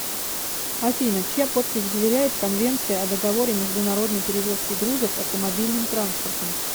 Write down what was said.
афина чья подпись заверяет конвенция о договоре международной перевозки грузов автомобильным транспортом